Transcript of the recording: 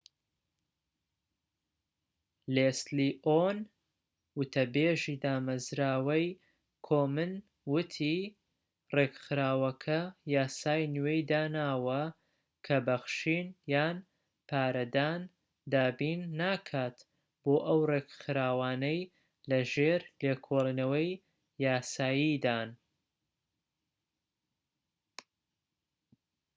لێسلی ئۆن وتەبێژی دامەزراوەی کۆمن وتی ڕێکخراوەکە یاسای نوێی داناوە کە بەخشین یان پارەدان دابین ناکات بۆ ئەو ڕێکخراوانەی لەژێر لێکۆڵینەوەی یاساییدان